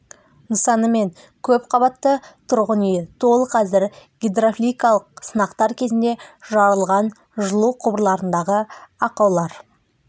нысаны мен көп қабатты тұрғын үйі толық әзір гидравликалық сынақтар кезінде жарылған жылу құбырларындағы ақаулар